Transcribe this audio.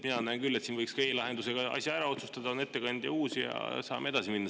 Mina näen küll, et siin võiks e‑lahendusega asja ära otsustada, oleks uus ettekandja ja saaksime edasi minna.